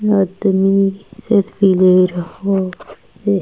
आदमी --